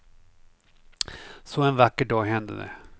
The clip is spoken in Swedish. Så en vacker dag hände det.